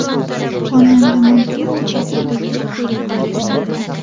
Xonanda Manzura Bokuda klip suratga oldirmoqda .